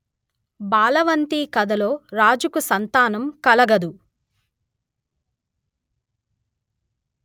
బాలవంతి కథలో రాజుకు సంతానం కలగదు